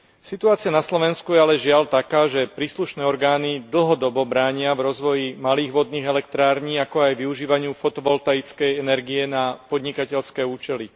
Situácia na Slovensku je ale, žiaľ, taká, že príslušné orgány dlhodobo bránia v rozvoji malých vodných elektrární, ako aj využívaniu fotovoltickej energie na podnikateľské účely.